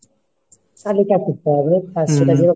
তালিকা করতে হবে